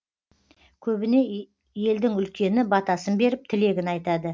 көбіне елдің үлкені батасын беріп тілегін айтады